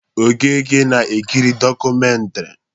Okeke na-ekiri dọkụmentiri.